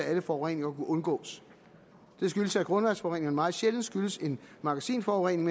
alle forureninger kunne undgås det skyldes at grundvandsforureninger meget sjældent skyldes en magasinforurening